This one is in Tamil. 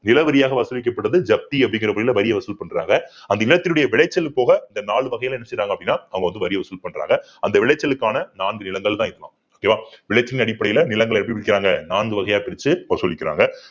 நிலவரியாக வசூலிக்கப்படுது ஜப்தி அப்படிங்கிற முறையில வரியை வசூல் பண்றங்க அந்த இனத்தினுடைய விளைச்சல் போக இந்த நாலு வகையில என்ன செய்றாங்க அப்படின்னா அவங்க வந்து வரி வசூல் பண்றாங்க அந்த விளைச்சலுக்கான நான்கு நிலங்கள்தான் இதுதான் okay வா விளைச்சலின் அடிப்படையில நிலங்களை எப்படி விக்கிறாங்க நான்கு வகையா பிரிச்சு வசூலிக்கிறாங்க